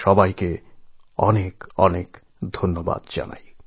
আপনাদের সবাইকে আরেকবার অনেক অনেক ধন্যবাদ